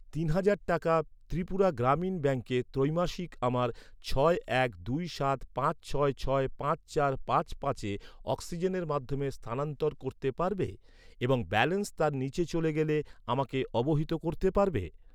তিন হাজার টাকা ত্রিপুরা গ্রামীণ ব্যাঙ্কে ত্রৈমাসিক আমার ছয় এক দুই সাত পাঁচ ছয় ছয় পাঁচ চার পাঁচ পাঁচে অক্সিজেনের মাধ্যমে স্থানান্তর করতে পারবে এবং ব্যালেন্স তার নিচে চলে গেলে আমাকে অবহিত করতে পারবে?